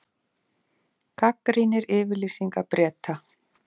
Gagnrýnir yfirlýsingar Breta